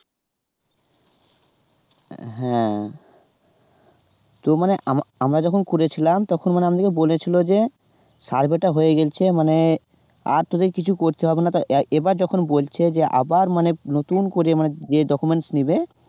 হ্যাঁ তো মানে আম আমরা যখন করেছিলাম তখন মানে আমাদেরকে বলেছিলো যে survey টা হয়ে গেছে মানে আর তোদের কিছু করতে হবে না, এবার যখন বলছে যে আবার মানে নতুন করে মানে documents নেবে